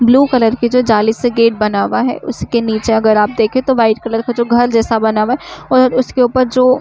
blue colour के जो जाले से गेट बना हुआ है उसके नीचे अगर आप देखें तो व्हाइट कलर का जो घर बना हुआ है और उसके ऊपर जो --